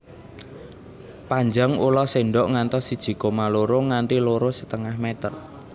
Panjang ula sendok ngantos siji koma loro nganti loro setengah meter